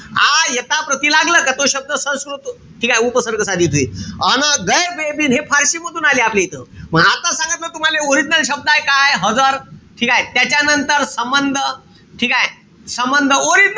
आ, यथा, प्रति लागलं का तो शब्द संस्कृत ठीकेय? उपसर्ग साधित होईल. अन गैर, बे, बिन हे फारशी मधून आले आपल्या इथं. मंग आता सांगितलं तुम्हाले original शब्दय काय? हजर ठीकेय? त्याच्यानंतर संबंध ठीकेय? संबंध. Original,